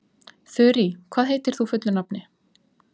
Þurí, hvað heitir þú fullu nafni?